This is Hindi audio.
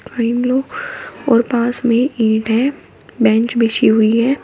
और पास में ईंट हैं बेंच बिछी हुई है।